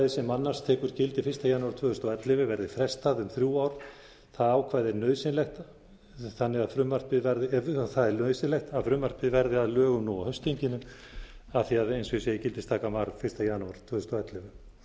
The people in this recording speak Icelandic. sem annars tekur gildi eins janúar tvö þúsund og ellefu verði frestað um þrjú ár það ákvæði er nauðsynlegt þannig að frumvarpið verði að lögum nú á haustþinginu af því að eins og ég segi gildistakan var fyrsta janúar tvö þúsund og ellefu